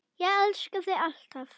Ég elska þig alltaf.